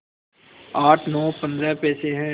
आठ नौ पंद्रह पैसे हैं